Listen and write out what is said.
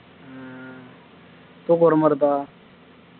ஹம் தூக்கம் வரமாதிரி இருக்கா